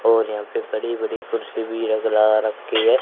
और यहां पे बड़ी बड़ी कुर्सी भी लगा रखी है।